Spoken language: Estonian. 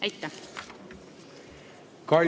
Aitäh!